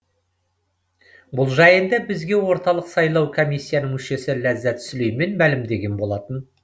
бұл жайында бізге орталық сайлау комиссиясының мүшесі ләззат сүлеймен мәлімдеген болатын